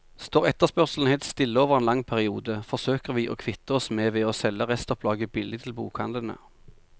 Står etterspørselen helt stille over en lang periode, forsøker vi å kvitte oss med ved å selge restopplaget billig til bokhandlene.